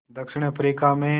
दक्षिण अफ्रीका में